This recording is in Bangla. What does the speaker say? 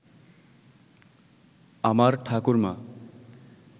আমার ঠাকুরমা